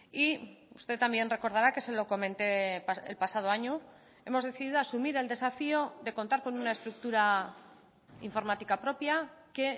y usted también recordará que se lo comenté el pasado año hemos decidido asumir el desafío de contar con una estructura informática propia que